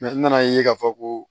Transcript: n nana ye k'a fɔ ko